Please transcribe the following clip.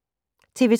TV 2